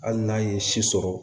Hali n'a ye si sɔrɔ